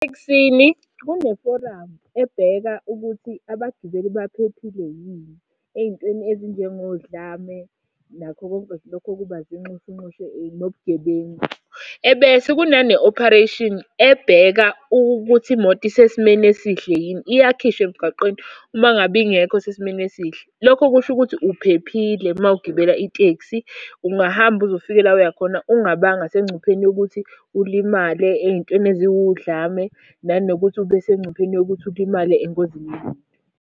Etekisini kuneforamu ebheka ukuthi abagibeli baphephile yini ey'ntweni ezinjengodlame, nakho konke nje lokhu okuba zinxushunxushu nobugebengu. Ebese kunane ophareyshini ebheka ukuthi imoto isesimeni esihle yini, iyakhishwa emgwaqeni uma ngabe ingekho sesimeni esihle. Lokho kusho ukuthi uphephile uma ugibela itekisi, ungahamba uze ufike la oya khona ungabanga sengcupheni yokuthi ulimale ey'ntweni eziwu dlame. Nanokuthi ube sengcupheni yokuthi ulimale engozini yemoto.